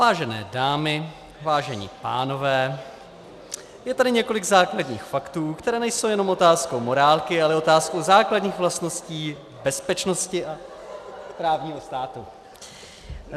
Vážené dámy, vážení pánové, je tady několik základních faktů, které nejsou jenom otázkou morálky, ale otázkou základních vlastností bezpečnosti a právního státu.